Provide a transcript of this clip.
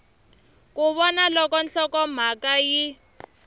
ku vona loko nhlokomhaka yi